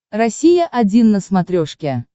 россия один на смотрешке